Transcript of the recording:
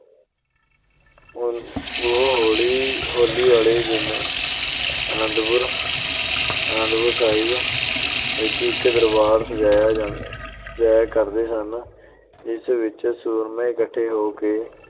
ਉਹ ਹੋਲੀ ਅਹ ਹੋਲੀ ਵਾਲੇ ਦਿਨ ਆਨੰਦਪੁਰ ਅਹ ਆਨੰਦਪੁਰ ਸਾਹਿਬ ਵਿੱਚ ਇੱਕ ਦਰਬਾਰ ਸਜਾਇਆ ਕਰਦੇ ਸਨ, ਜਿਸ ਵਿੱਚ ਸੂਰਮੇ ਇਕੱਠੇ ਹੋ ਕੇ